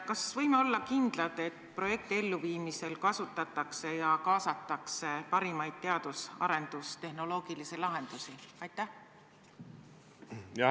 Kas võime olla kindlad, et projekti elluviimisel kasutatakse ja sellesse kaasatakse parimaid teadus- ja arendusteholoogilisi lahendusi?